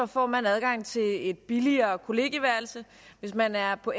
får man adgang til et billigere kollegieværelse hvis man er på